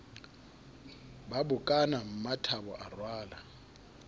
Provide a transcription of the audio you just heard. ba bokana mmathabo a rwala